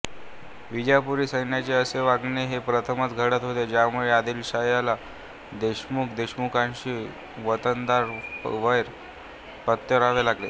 विजापुरी सैन्याचे असे वागणे हे प्रथमच घडत होते ज्यामुळे आदिलाशहाला देशमुखदेशमुखांशी वतनदार वैर पत्करावे लागले